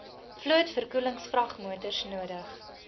vloot verkoelingsvragmotors nodig